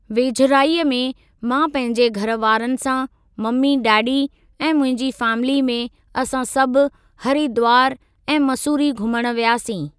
वेझराईअ में मां पंहिंजे घरवारनि सां मम्मी डैडी ऐं मुंहिंजी फ़ैमिली में असां सभु हरीद्वार ऐं मसूरी घूमण वियासीं।